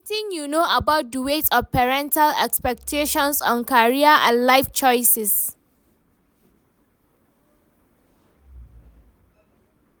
wetin you know about di weight of parental expactations on career and life choices?